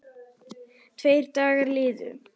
Tveir dagar liðu.